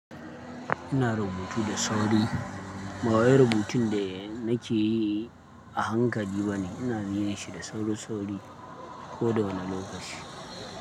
Ina rubutu da sauri. Ba wai rubutun da nake yi a hankali ba ne, ina zine shi da sauri sauri ko da wane lokaci.